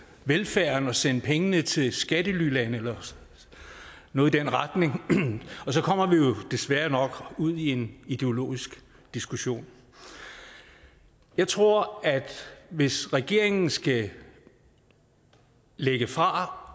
velfærden og sende pengene til skattelylande eller noget i den retning og så kommer vi jo desværre nok ud i en ideologisk diskussion jeg tror at hvis regeringen skal lægge fra